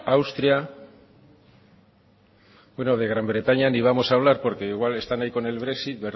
austria bueno de gran bretaña ni vamos hablar porque igual están ahí con el brexit